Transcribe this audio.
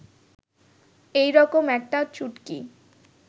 এই রকম একটা চুটকি